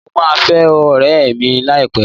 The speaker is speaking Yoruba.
Mo máa fẹ́ ọ̀rẹ́ẹ̀ mi láìpẹ́.